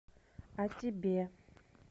а тебе